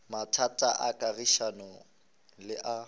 mathata a kagišano le a